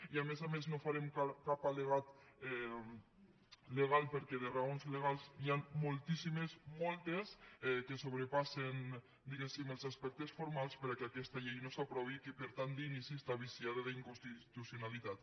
i a més a més no farem cap al·legat legal perquè de raons legals n’hi ha moltíssimes moltes que sobrepassen diguéssim els aspectes formals perquè aquesta llei no s’aprovi i que per tant d’inici està viciada d’inconstitucionalitat